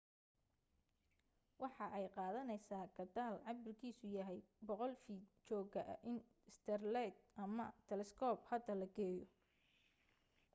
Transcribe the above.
waxa ay qaadaneysa gataal cabirkiisu yahay 100 fiit jooga in saterleyd ama talescope hada la geeyo